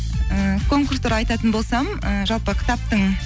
і конкурс туралы айтатын болсам ы жалпы кітаптың